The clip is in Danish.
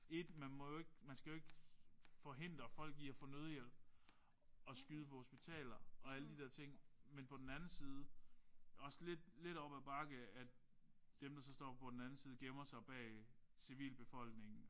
Ét man må jo ikke man skal jo ikke forhindre folk i at få nødhjælp og skyde på hospitaler og alle de der ting men på den anden side også lidt lidt op ad bakke at dem der så står på den anden side gemmer sig bag civilbefolkningen